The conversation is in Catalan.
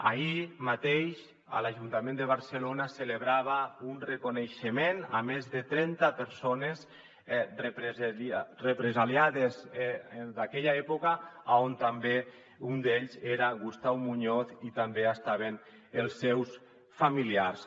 ahir mateix a l’ajuntament de barcelona es celebrava un reconeixement a més de trenta persones represaliades d’aquella època on també un d’ells era gustau muñoz i també estaven els seus familiars